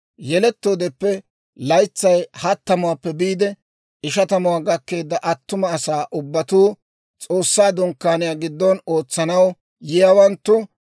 Yelettoodeppe laytsay hattamuwaappe biide ishatamuwaa gakkeedda attuma asatuu ubbatuu, S'oossaa Dunkkaaniyaa giddon ootsanaw yiyaawanttu,